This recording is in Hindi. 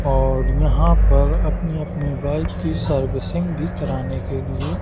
और यहाँ पर अपनी-अपनी बाइक की सर्विसिंग भी कराने के लिए --